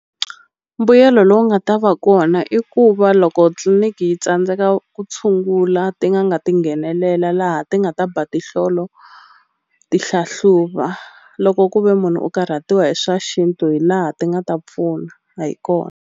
Mbuyelo lowu nga ta va kona i ku va loko tliliniki yi tsandzeka ku tshungula ti n'anga ti nghenelela laha ti nga ta ba tihlolo ti hlahluva loko ku ve munhu u karhatiwa hi swa xintu hi laha ti nga ta pfuna hi kona.